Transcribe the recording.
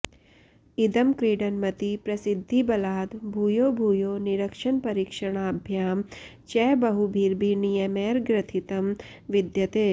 इदं क्रीडनमति प्रसिद्धिबलाद् भूयो भूयो निरीक्षणपरीक्षणाभ्यां च बहुभिर्नियमैर्ग्रथितं विद्यते